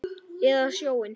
Eða sjóinn?